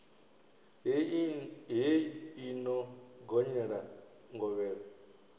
hei i no gonyela ngovhela